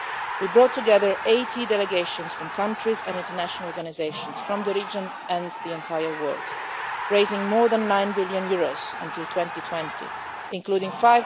We brought together 80 delegations from countries and international organisations from the region and the entire world, raising more than nine billion euros until 2020, including EUR